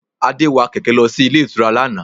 Adé wa kẹ̀kẹ́ lọ sí ilé ìtura lánàá